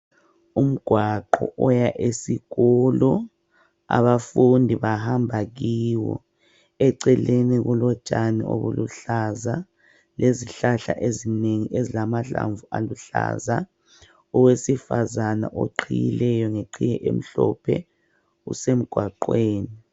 Umgwaqo oya esikolo abafundi bahamba kiwo. Eceleni kulotshani obuluhlaza lezihlahla ezinengi ezilamahlamvu aluhlaza. Owesifazana oqhiyileyo ngeqhiye emhlophe usemgwaqweni